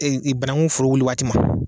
Ee banakun foro wuli waati ma